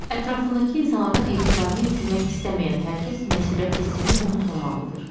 Ətrafındakı insanların etibarını itirmək istəməyən hər kəs məsuliyyət hissini unutmamalıdır.